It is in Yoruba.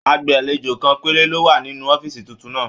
Agbalejo kan péré ló wà nínú ọ̀fiísí títún náà.